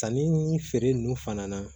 Sanni feere nunnu fana na